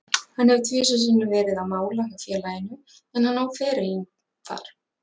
Hann hefur tvisvar sinnum verið á mála hjá félaginu, en hann hóf ferilinn þar.